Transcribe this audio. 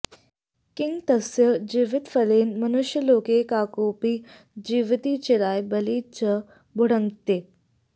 किं तस्य जीवितफलेन मनुष्यलोके काकोऽपि जीवति चिराय बलिं च भुङ्क्ते